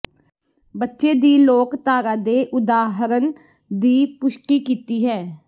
ਬੱਚੇ ਦੀ ਲੋਕਧਾਰਾ ਦੇ ਉਦਾਹਰਣ ਦੀ ਪੁਸ਼ਟੀ ਕੀਤੀ ਹੈ